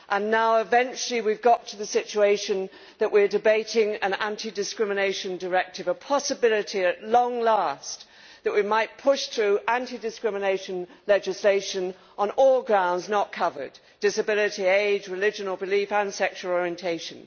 Now, eventually, we have got to the situation where we are debating an anti discrimination directive, a possibility at long last that we might push through anti discrimination legislation on all grounds not covered disability, age, religion or belief, and sexual orientation.